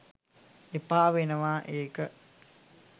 එපා වෙනවා ඒක